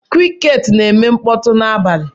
Crickets na-eme mkpọtụ n'abalị.